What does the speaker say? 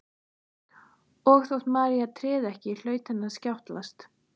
Og þótt María tryði ekki hlaut henni að skjátlast.